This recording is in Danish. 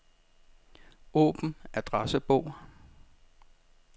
Åbn adressebog.